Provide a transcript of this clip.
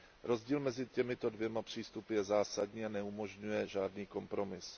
Rozdíl mezi těmito dvěma přístupy je zásadní a neumožňuje žádný kompromis.